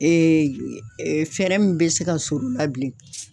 fɛɛrɛ min bɛ se ka sɔr'o la bilen.